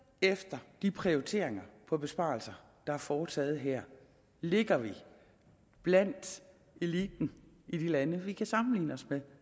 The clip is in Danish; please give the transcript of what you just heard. efter de prioriteringer på besparelser der er foretaget her ligger vi blandt eliten i de lande vi kan sammenligne os med